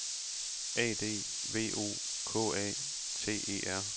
A D V O K A T E R